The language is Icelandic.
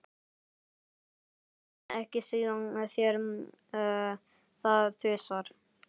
Stelpurnar létu ekki segja sér það tvisvar.